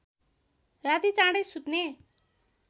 राती चाँडै सुत्ने